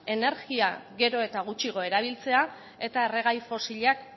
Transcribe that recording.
energia gero eta gutxiago erabiltzea eta erregai fosilak